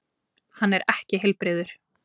Hann er ekki heilbrigður.